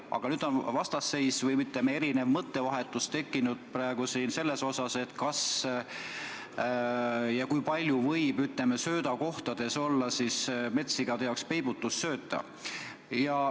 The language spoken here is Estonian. Aga nüüd on vastasseis või erinev mõttevahetus tekkinud selles küsimuses, kas ja kui palju võib söödakohtades olla metssigade jaoks peibutussööta.